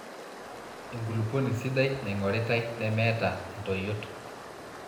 enkuluponi sidai naingoritae nemeeta intoyot